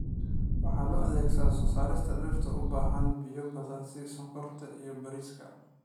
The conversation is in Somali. Waxa loo adeegsadaa soo saarista dhirta u baahan biyo badan sida sonkorta iyo bariiska.